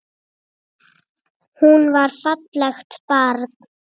Hún var fallegt barn.